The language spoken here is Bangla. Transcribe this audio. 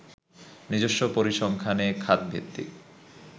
নিজস্ব পরিসংখ্যানে খাত ভিত্তিক